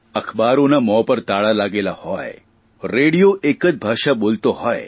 અખબારોના મોં પર તાળાં લાગેલાં હોય રેડિયો એક જ ભાષા બોલતો હોય